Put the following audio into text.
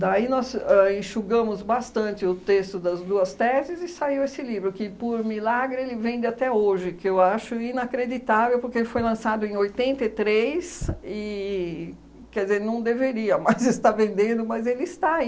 Daí, nós ãh enxugamos bastante o texto das duas teses e saiu esse livro, que, por milagre, ele vende até hoje, que eu acho inacreditável, porque ele foi lançado em oitenta e três e, quer dizer, não deveria mais estar vendendo, mas ele está.